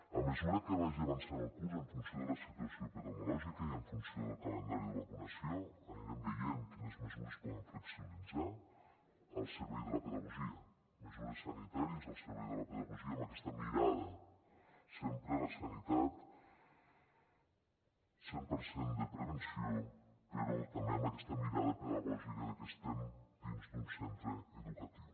a mesura que vagi avançant el curs en funció de la situació epidemiològica i en funció del calendari de vacunació anirem veient quines mesures es poden flexibilitzar al servei de la pedagogia mesures sanitàries al servei de la pedagogia amb aquesta mirada sempre a la sanitat cent per cent de prevenció però també amb aquesta mirada pedagògica de que estem dins d’un centre educatiu